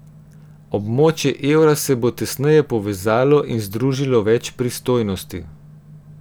Območje evra se bo tesneje povezalo in združilo več pristojnosti.